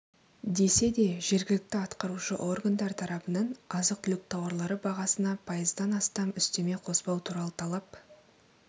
десе де жергілікті атқарушы органдар тарапынан азық-түлік тауарлары бағасына пайыздан астам үстеме қоспау туралы талап